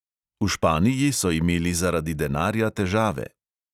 V španiji so imeli zaradi denarja težave.